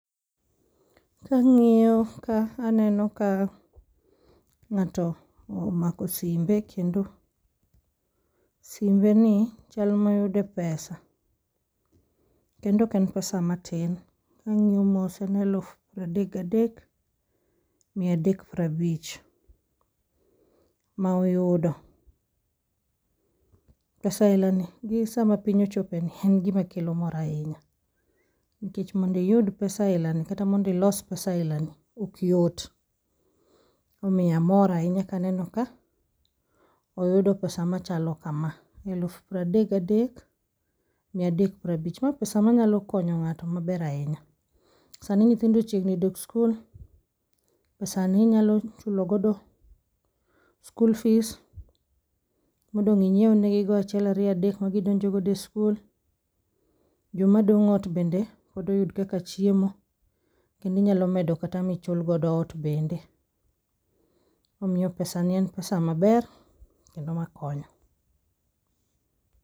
Kang'iyo ka, aneno ka ng'ato omako simbe kendo simbe ni chal ma oyude pesa, kendo ok en pesa matin. Kang'iyo mos en elufu piero adek gi adek, mia adek piero abich ma oyudo. Pesa aila ni, gi sama piny ochope ni en gima kelo mor ahinya. Nikech mondo iyudo pesa aila ni, kata mondo ilos pesa aila ni okyot. Omiyo amor ahinya kaneno ka oyudo pesa machalo kama, elufu piero adek gi adek, mia adek piero abich. Ma pesa manyalo konyo ng'ato maber ahinya. Sani nyithindo ochiegni dok skul, pesa ni inyalo chulo godo school fees, modong' inyiew ne gi go achiel ariyo adek ma gidonjo godo e skul. Joma dong' ot bende pod oyud kaka chiemo. Kendo inyalo medo kata michul godo ot bende. Omiyo pesa ni en pesa maber kendo makonyo.